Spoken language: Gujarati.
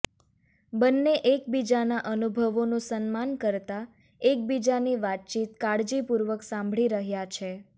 બંને એકબીજાના અનુભવોનું સન્માન કરતા એકબીજાની વાતચીત કાળજીપૂર્વક સાંભળી રહ્યા છે